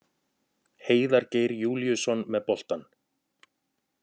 Heiðar Geir Júlíusson með boltann.